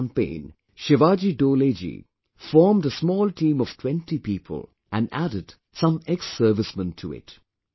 In this campaign, Shivaji Dole ji formed a small team of 20 people and added some exservicemen to it